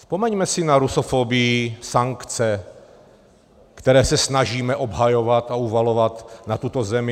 Vzpomeňme si na rusofobii, sankce, které se snažíme obhajovat a uvalovat na tuto zemi.